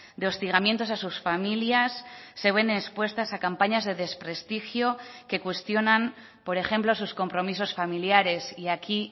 de hostigamientos a sus familias se ven expuestas a campañas de desprestigio que cuestionan por ejemplo sus compromisos familiares y aquí